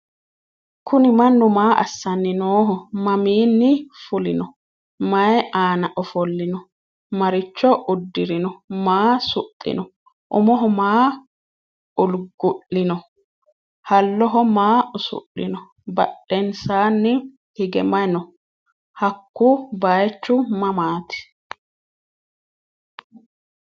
kuuni manu maa asanni nooho? maminni fuulinno? mayi anna ofoolinno ?maricho uddirino? maa suxinno? uumoho maa ulgu'lino? haaloho maa usudhino? badhesanni hige maayi noo? haku bayichu mamati?